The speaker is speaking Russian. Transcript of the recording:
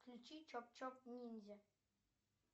включи чоп чоп ниндзя